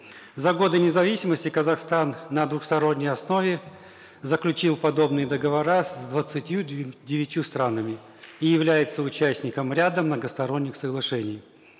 за годы независимости казахстан на двусторонней основе заключил подобные договора с двадцатью девятью странами и является участником ряда многосторонних соглашений